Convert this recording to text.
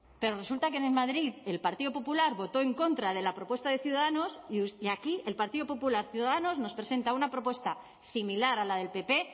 pero resulta que en madrid el partido popular votó en contra de la propuesta de ciudadanos y aquí el partido popular ciudadanos nos presenta una propuesta similar a la del pp